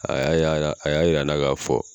A y'a yala a y'a jira n na k'a fɔ